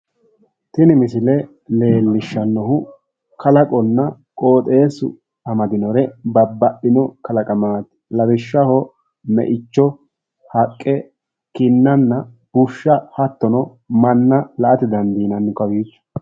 Tini misile leellishshannohu kalaqonna qooxeessu amadinore babbaxxino kalaqamaati. Lawishshaho me'icho, haqqe, kinnanna bushsha hattono manna la'ate dandiinanni kowiicho.